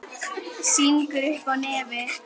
Sýgur upp í nefið.